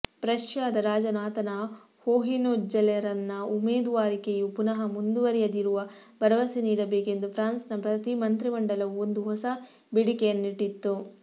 ಪ್ರಷ್ಯಾದ ರಾಜನು ಆತನ ಹೋಹೆನ್ಜೊಲೆರನ್ನ ಉಮೇದುವಾರಿಕೆಯು ಪುನಃ ಮುಂದುವರಿಯದಿರುವ ಭರವಸೆ ನೀಡಬೇಕೆಂದು ಫ್ರಾನ್ಸ್ನ ಮಂತ್ರಿಮಂಡಲವು ಒಂದು ಹೊಸ ಬೇಡಿಕೆಯನ್ನಿಟ್ಟಿತು